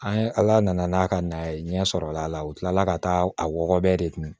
An ye ala nana n'a ka na ye ɲɛ sɔrɔla la u kilala ka taa a wɔgɔbɔbɛ de kun